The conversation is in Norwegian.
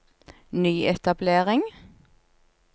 nyetablering